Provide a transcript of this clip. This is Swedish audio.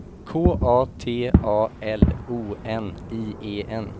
K A T A L O N I E N